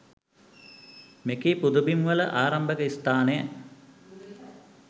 මෙකී පුදබිම්වල ආරම්භක ස්ථානය